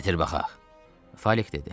Gətir baxaq, Falik dedi.